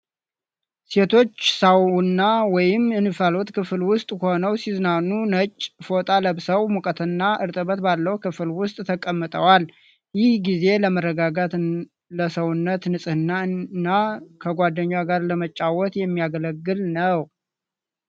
ሴቶች ሳውና ወይም የእንፋሎት ክፍል ውስጥ ሆነው ሲዝናኑ ነጭ ፎጣ ለብሰው ሞቃትና እርጥበት ባለው ክፍል ውስጥ ተቀምጠዋል ። ይህ ጊዜ ለመረጋጋት ፣ ለሰውነት ንጽህና እና ከጓደኞች ጋር ለመጨዋወት የሚያገለግል ነው።